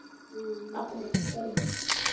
ਹਮ ਆਪਣੇ ਆਪਣੀ ਘਰੀ।